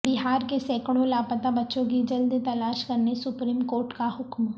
بہار کے سینکڑوں لاپتہ بچوں کی جلد تلاش کرنے سپریم کورٹ کا حکم